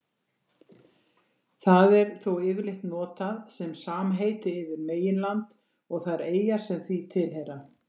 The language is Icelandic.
Það er þó yfirleitt notað sem samheiti yfir meginland og þær eyjar sem því tilheyra.